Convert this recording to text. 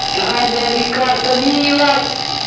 да она рикардо милос